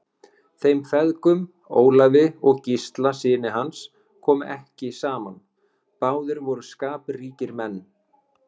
Þeim feðgum, Ólafi og Gísla syni hans, kom ekki saman, báðir voru skapríkir menn.